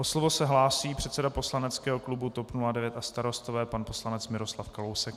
O slovo se hlásí předseda poslaneckého klubu TOP 09 a Starostové, pan poslanec Miroslav Kalousek.